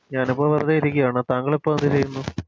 ഞാനിപ്പോ വെറുതെ ഇരിക്കാണ് താങ്കളിപ്പോ എന്ത് ചെയ്യുന്നു